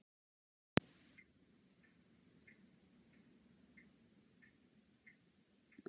Við byrjuðum vel og héldum að við gætum gert það en við sýndum ekki nóg.